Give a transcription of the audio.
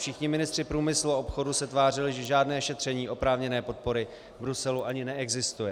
Všichni ministři průmyslu a obchodu se tvářili, že žádné šetření oprávněné podpory v Bruselu ani neexistuje.